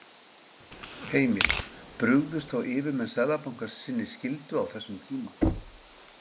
Heimir: Brugðust þá yfirmenn Seðlabankans sinni skyldu á þessum tíma?